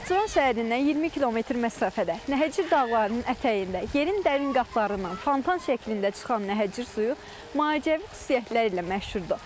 Naxçıvan şəhərindən 20 km məsafədə Nəhəcir dağlarının ətəyində yerin dərin qatlarından fontan şəklində çıxan Nəhəcir suyu macəvi xüsusiyyətlərlə məşhurdur.